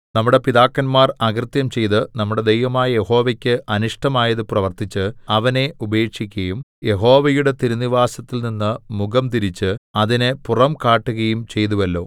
നമ്മുടെ പിതാക്കന്മാർ അകൃത്യം ചെയ്ത് നമ്മുടെ ദൈവമായ യഹോവയ്ക്ക് അനിഷ്ടമായത് പ്രവർത്തിച്ച് അവനെ ഉപേക്ഷിക്കയും യഹോവയുടെ തിരുനിവാസത്തിൽ നിന്ന് മുഖംതിരിച്ച് അതിന് പുറം കാട്ടുകയും ചെയ്തുവല്ലോ